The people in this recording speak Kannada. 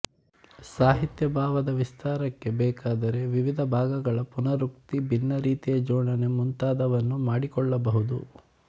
ಸಾಹಿತ್ಯಭಾವದ ವಿಸ್ತಾರಕ್ಕೆ ಬೇಕಾದರೆ ವಿವಿಧ ಭಾಗಗಳ ಪುನರುಕ್ತಿ ಭಿನ್ನರೀತಿಯ ಜೋಡಣೆ ಮುಂತಾದವನ್ನು ಮಾಡಿಕೊಳ್ಳಬಹುದು